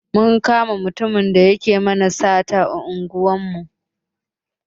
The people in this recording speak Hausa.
Mun kama mutumin da yake mana sata a unguwar mu.